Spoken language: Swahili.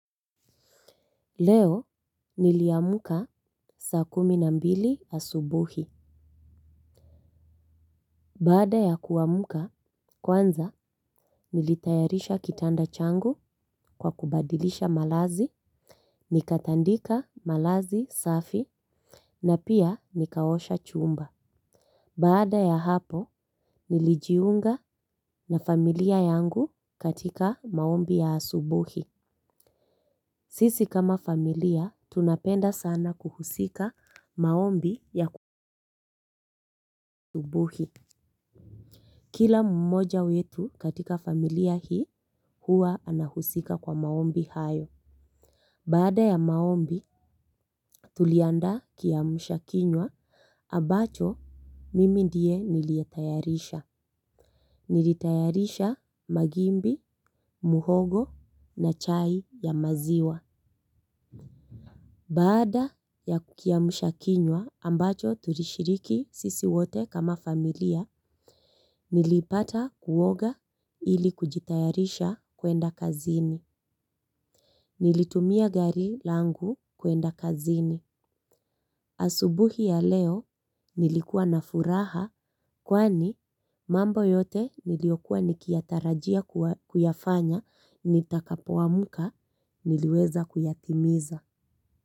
Leo niliamka saa kumi na mbili asubuhi. Baada ya kuamka, kwanza nilitayarisha kitanda changu kwa kubadilisha malazi, nikatandika malazi safi, na pia nikaosha chumba. Baada ya hapo, nilijiunga na familia yangu katika maombi ya asubuhi. Sisi kama familia tunapenda sana kuhusika maombi ya asubuhi. Kila mmoja wetu katika familia hii huwa anahusika kwa maombi hayo. Baada ya maombi, tuliandaa kiamsha kinywa, ambacho mimi ndiye niliyetayarisha. Nilitayarisha magimbi, muhogo na chai ya maziwa. Baada ya kiamsha kinywa, ambacho tulishiriki sisi wote kama familia, nilipata kuoga ili kujitayarisha kwenda kazini. Nilitumia gari langu kwenda kazini. Asubuhi ya leo nilikuwa na furaha kwani mambo yote niliyokuwa nikiyatarajia kuyafanya nitakapoamka niliweza kuyatimiza.